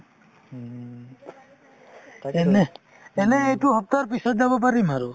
এনেহ্ এনে এইটো সপ্তাহৰ পিছত যাম পাৰিম আৰু